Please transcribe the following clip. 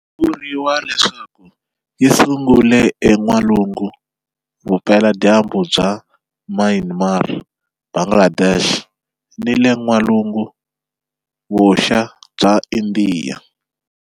Vuriwa leswaku yi sungule en'walungu-vupela-dyambu bya Myanmar, Bangladesh ni le n'walungu-vuxa bya Indiya.